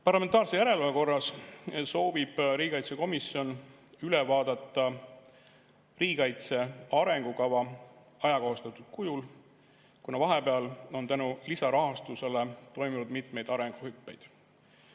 Parlamentaarse järelevalve korras soovib riigikaitsekomisjon üle vaadata riigikaitse arengukava ajakohastatud kujul, kuna vahepeal on tänu lisarahastusele toimunud mitmeid arenguhüppeid.